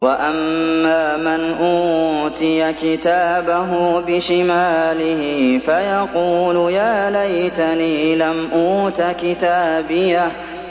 وَأَمَّا مَنْ أُوتِيَ كِتَابَهُ بِشِمَالِهِ فَيَقُولُ يَا لَيْتَنِي لَمْ أُوتَ كِتَابِيَهْ